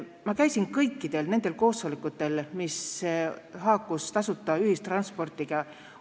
Ma käisin kõikidel nendel koosolekutel, mis haakusid tasuta ühistranspordiga.